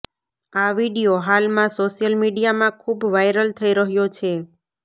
આ વિડિયો હાલમાં સોશ્યલ મીડિયામાં ખૂબ વાઇરલ થઈ રહ્યો છે